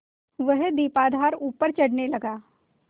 वह दीपाधार ऊपर चढ़ने लगा